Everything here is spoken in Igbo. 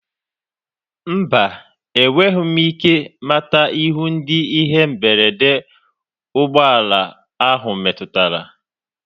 Mba, enweghị m ike mata ihu ndị ihe mberede ụgbọ ala ahụ metụtara.